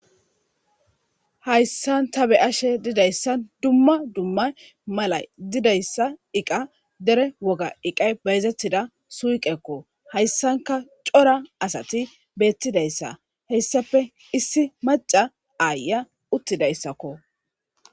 hayssan ta be ashe didayssa dumma dumma mala didayssa iqa dere woga iqay beyzettida suuqekko hayssanka cora asati beettidayssa heyssafe issi maca aaya uttidayssakko